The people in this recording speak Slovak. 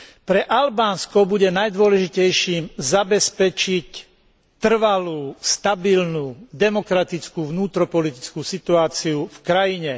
Pre Albánsko bude najdôležitejším zabezpečiť trvalú stabilnú demokratickú vnútropolitickú situáciu v krajine.